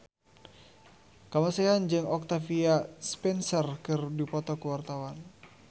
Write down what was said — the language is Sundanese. Kamasean jeung Octavia Spencer keur dipoto ku wartawan